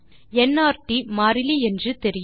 NRT மாறிலி என்று தெரியும்